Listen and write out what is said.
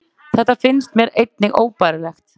Þetta finnst mér einnig óbærilegt